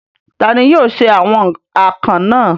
Ta ni yóò se awon akàn náà?